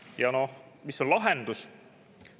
Ja noh, mis on lahendus?